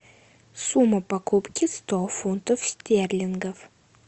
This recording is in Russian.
сумма покупки сто фунтов стерлингов